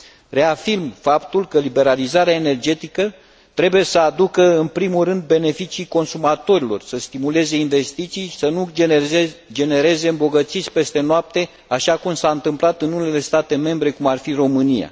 Reafirm faptul că liberalizarea energetică trebuie să aducă în primul rând beneficii consumatorilor, să stimuleze investițiile și să nu genereze îmbogățiți peste noapte, așa cum s a întâmplat în unele state membre, cum ar fi România.